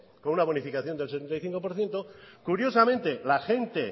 con una bonificación del sesenta y cinco por ciento curiosamente la gente